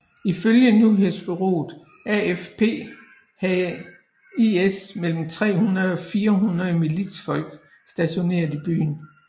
Ifølge nyhedsbureauet AFP havde IS mellem 300 og 400 militsfolk stationerede i byen